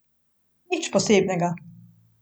Nič posebnega.